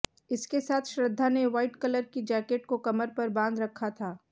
इसके साथ श्रद्धा ने व्हाइट कलर की जैकेट को कमर पर बांध रखा था